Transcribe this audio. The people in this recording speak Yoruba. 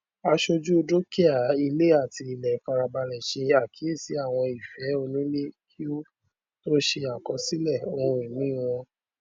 àsọjù dúkìá ilé àti ilẹ farabalẹ ṣe àkíyèsí àwọn ìfẹ onílẹ kí ó tó ṣe àkọsílẹ ohunini náà